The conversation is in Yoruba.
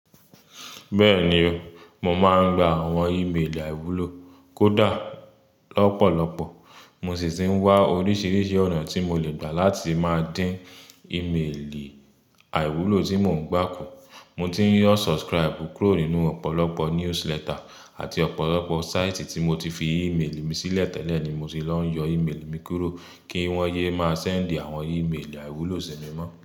Bẹ́ẹ̀ni o, mo máa ń gba àwọn ìméèlì àìwúlò kódà lọ́pọ̀lọpọ̀. Mo sì ti ń wá oríṣiríṣi ọ̀nà tí mo lè gbà láti máa dín ìméèlì àìwúlò tí mò ń gbà kù. Mo ti ń unsubscribe kúrò nínú ọ̀pọ̀lọpọ̀ newsletter àti ọ̀pọ̀lọpọ̀ sáìtì tí mo ti fi ìméèlì mi sílẹ̀ tẹ́lẹ̀ ni mo ti lọ yọ ìméèlì mi kúrò kí wọ́n yé máa sẹ́ǹdì àwọn ìméèlì àìwúlò sí mi mọ́